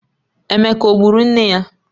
Emeka o gburu nne ya?